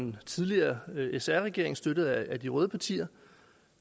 den tidligere sr regering støttet af de røde partier